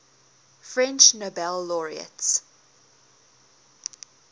french nobel laureates